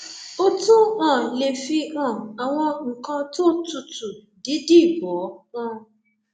o tún um lè fi um àwọn nǹkan tó tutù dídì bò ó um